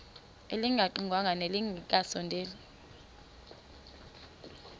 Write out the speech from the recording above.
elingaqingqwanga nelinge kasondeli